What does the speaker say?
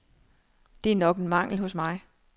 Det er nok en mangel hos mig.